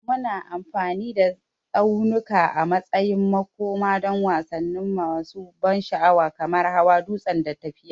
Muna amfani da tsaunuka a matsayin makoma don wasanni masu ban sha'awa kamar hawan dutse da tafiya.